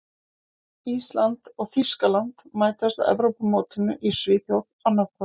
Ísland og Þýskaland mætast á Evrópumótinu í Svíþjóð annað kvöld.